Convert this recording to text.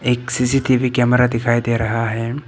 एक CC TV camera दिखाई दे रहा है।